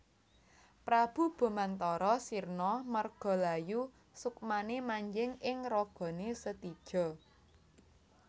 Prabu Bomantara sirna margalayu sukmané manjing ing ragané Setija